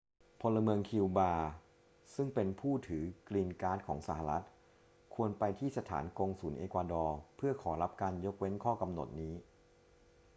พลเมืองคิวบาซึ่งเป็นผู้ถือกรีนการ์ดของสหรัฐฯ ควรไปที่สถานกงสุลเอกวาดอร์เพื่อขอรับการยกเว้นข้อกำหนดนี้